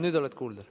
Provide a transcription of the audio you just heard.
Nüüd oled kuulda.